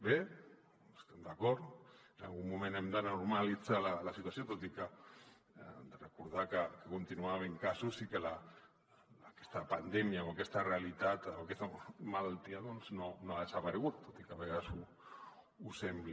bé hi estem d’acord en algun moment hem de normalitzar la situació tot i que hem de recordar que hi continua havent casos i que aquesta pandèmia o aquesta realitat o aquesta malaltia no ha desaparegut tot i que a vegades ho sembli